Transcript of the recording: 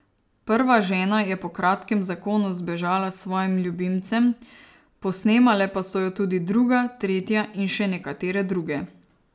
Prva žena je po kratkem zakonu zbežala s svojim ljubimcem, posnemale pa so jo tudi druga, tretja in še nekatere druge.